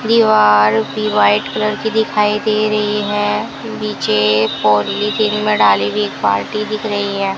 दीवार उसकी white colour की दिखाई दे रही है नीचे पॉलिथीन में डाली हुई एक बाल्टी दिख रही है।